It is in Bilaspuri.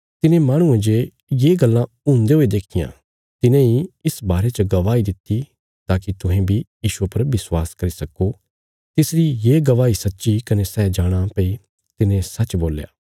तिने माहणुये जे ये गल्लां हुन्दे हुये देखियां तिने इ इस बारे च गवाही दित्ति ताकि तुहें बी यीशुये पर विश्वास करी सक्को तिसरी ये गवाही सच्ची कने सै जाणाँ भई तिने सच्च बोल्या